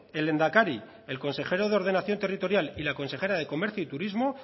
el lehendakari el consejero de ordenación territorial y la consejera de comercio y turismo